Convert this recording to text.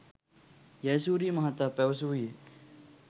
ජයසූරිය මහතා පැවසූයේ